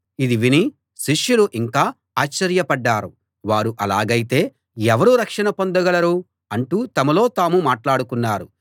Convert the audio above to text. ఇది విని శిష్యులు ఇంకా ఆశ్చర్యపడ్డారు వారు అలాగైతే ఎవరు రక్షణ పొందగలరు అంటూ తమలో తాము మాట్లాడుకున్నారు